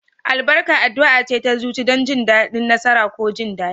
Albarka addu'a ce ta zuci don jin daɗi, nasara, ko jin daɗi.